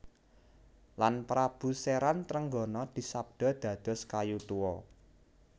Lan Prabu Seran Trenggono disabda dados kayu tuwa